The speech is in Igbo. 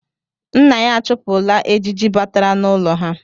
Nna ya achụpụla ejiji batara n’ụlọ ha.